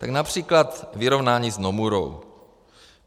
Tak například vyrovnání s Nomurou.